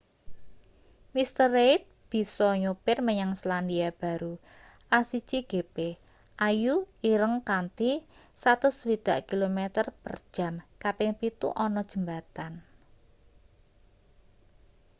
mr. reid bisa nyopir menyang selandia baru a1gp ayu.ireng kanthi 160km/j kaping pitu ana jembatan